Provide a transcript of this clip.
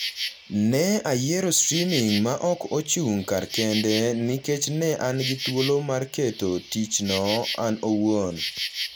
Ne ayiero streaming ma ok ochung’ kar kende nikech ne an gi thuolo mar keto tichno an awuon